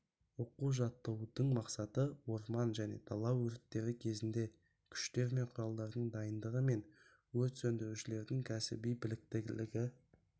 оқу-жаттығудың мақсаты орман және дала өрттері кезінде күштер мен құралдардың дайындығы мен өрт сөндірушілердің кәсіби біліктілігін